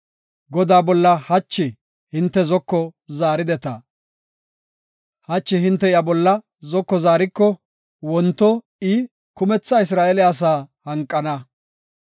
Godaa bolla hachi hinte zoko zaarideta. Hachi hinte iya bolla zoko zaariko wonto I kumetha Isra7eele asaa hanqana.